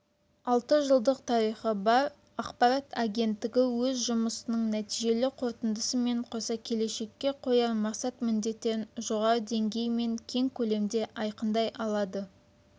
алты жылдық тарихы бар ақпарат агенттігі өз жұмысының нәтижелі қорытындысымен қоса келешекке қояр мақсат-міндеттерін жоғары деңгей мен кең көлемде айқындай алады